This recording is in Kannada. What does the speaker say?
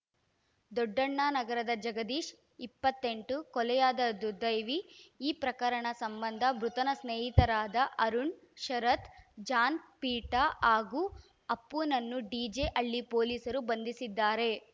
ದೊಡ್ಡಣ್ಣ ನಗರದ ಜಗದೀಶ್‌ ಇಪ್ಪತ್ತೆಂಟು ಕೊಲೆಯಾದ ದುರ್ದೈವಿ ಈ ಪ್ರಕರಣ ಸಂಬಂಧ ಮೃತನ ಸ್ನೇಹಿತರಾದ ಅರುಣ್‌ ಶರತ್‌ ಜಾನ್‌ ಪೀಟಾ ಹಾಗೂ ಅಪ್ಪುನನ್ನು ಡಿಜೆಹಳ್ಳಿ ಪೊಲೀಸರು ಬಂಧಿಸಿದ್ದಾರೆ